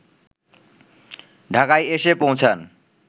ঢাকায় এসে পৌঁছান